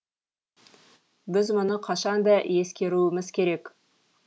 біз мұны қашанда ескеруіміз керек